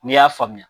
N'i y'a faamuya